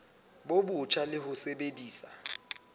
bo botjha le ho sebedisa